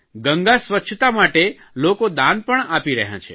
ગંગા સ્વચ્છતા માટે લોકો દાન પણ આપી રહ્યાં છે